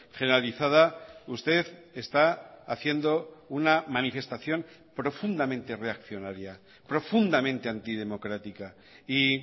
generalizada usted está haciendo una manifestación profundamente reaccionaria profundamente antidemocrática y